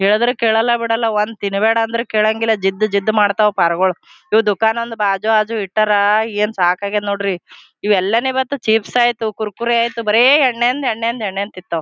ಹೇಳಿದ್ರೆ ಕೇಳಲ್ಲ ಬಿಡಲ ಒಂದ್ ತಿನ್ಬೇಡ ಅಂದ್ರೆ ಕೇಳಂಗಿಲ್ಲ ಜಿದ್ದ್ದ್ ಜಿದ್ದ್ದ್ ಮಾಡ್ತವು ಪರಗೋಳ ಇವ್ ದುಕಾನ್ ಒಂದ್ ಬಾಜು ಆಜು ಇಟ್ಟಾರ ಏನ್ ಸಾಕ್ ಆಗ್ಯದ ನೋಡ್ರಿ ಇವ್ ಎಲ್ಲನೆ ಬಂತು ಚಿಪ್ಸ್ ಆಯಿತು ಕುರ್ಕುರೆ ಆಯಿತು ಬರೇ ಎಣ್ಣೆಂದ ಎಣ್ಣೆಂದ ತಿಂತವ.